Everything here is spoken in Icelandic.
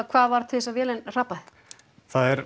hvað varð til þess að vélin hrapaði það er